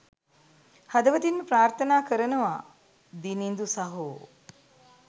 හදවතින්ම ප්‍රාර්ථනා කරනවා දිනිඳු සහෝ